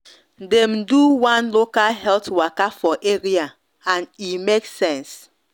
dem do one local health waka for area and e make sense